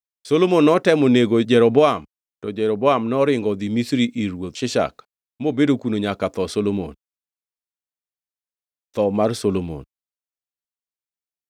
Solomon notemo nego Jeroboam, to Jeroboam noringo odhi Misri ir ruoth Shishak, mobedo kuno nyaka tho Solomon. Tho mar Solomon